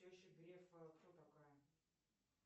теща грефа кто такая